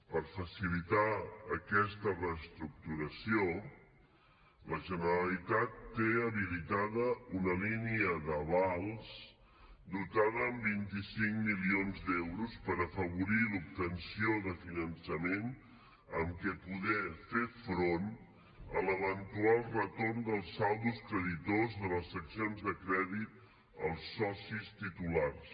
per facilitar aquesta reestructuració la generalitat té habilitada una línia d’avals dotada amb vint cinc milions d’euros per afavorir l’obtenció de finançament amb què poder fer front a l’eventual retorn dels saldos creditors de les seccions de crèdit als socis titulars